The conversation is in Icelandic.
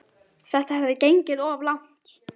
Þetta hafði gengið of langt.